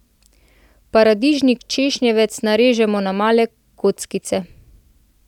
Paradižnik češnjevec narežemo na male kockice.